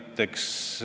Austatud ettekandja!